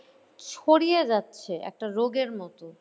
ছড়িয়ে যাচ্ছে একটা রোগের মত